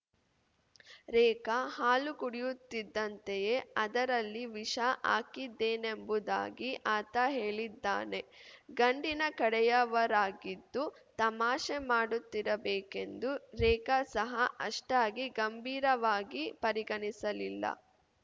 ರೇಖಾ ಹಾಲು ಕುಡಿಯುತ್ತಿದ್ದಂತೆಯೇ ಅದರಲ್ಲಿ ವಿಷ ಹಾಕಿದ್ದೇನೆಂಬುದಾಗಿ ಆತ ಹೇಳಿದ್ದಾನೆ ಗಂಡಿನ ಕಡೆಯವರಾಗಿದ್ದು ತಮಾಷೆ ಮಾಡುತ್ತಿರಬೇಕೆಂದು ರೇಖಾ ಸಹ ಅಷ್ಟಾಗಿ ಗಂಭೀರವಾಗಿ ಪರಿಗಣಿಸಲಿಲ್ಲ